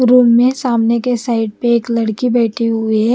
Room में सामने के साइड पे एक लड़की बैठी हुई है।